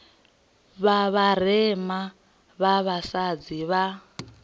vha vharema vha vhasadzi vho